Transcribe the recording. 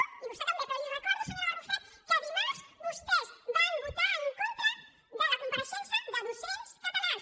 i vostè també però li recordo senyora barrufet que dimarts vostès van votar en contra de la compareixença de docents catalans